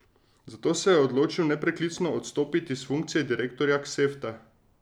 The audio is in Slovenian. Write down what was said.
Zato se je odločil nepreklicno odstopiti s funkcije direktorja Ksevta.